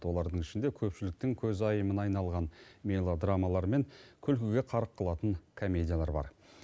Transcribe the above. олардың ішінде көпшіліктің көзайымына айналған мелодрамалар мен күлкіге қарқ қылатын комедиялар бар